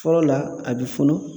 Fɔlɔ la a bɛ funu